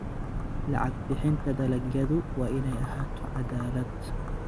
Lacag bixinta dalagyadu waa inay ahaato cadaalad.